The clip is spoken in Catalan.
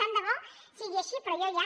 tant de bo sigui així però jo ja